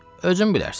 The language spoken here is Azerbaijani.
Özün bilərsən.